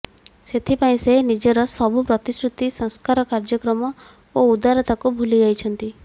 ସେଥିପାଇଁ ସେ ନିଜର ସବୁ ପ୍ରତିଶ୍ରୁତି ସଂସ୍କାର କାର୍ଯ୍ୟକ୍ରମ ଓ ଉଦାରତାକୁ ଭୁଲିଯାଇଛନ୍ତି